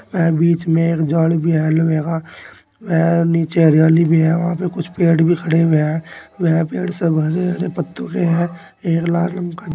अह बीच में एक जॉइंट भी है लोहे का अह नीचे हरियाली भी है वहां पे कुछ पेड़ भी खड़े हुए हैं वह पेड़ सब हरे हरे पत्तों के हैं एक लाल रंग का--